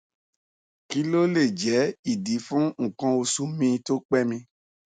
kí ló lè jẹ ìdí fún nkan osu mi to pé mi